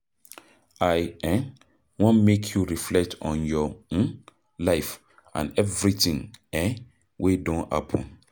I um wan make you reflect on your um life and everything um wey don happen.